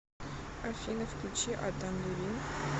афина включи адам левин